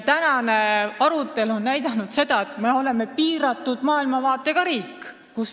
Tänane arutelu on näidanud, et me oleme piiratud maailmavaatega riik.